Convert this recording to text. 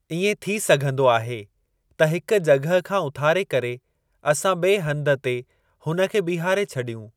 इएं थी सघंदो आहे त हिक जॻहि खां उथारे करे असां ॿिए हंधु ते हुन खे बीहारे छॾियूं।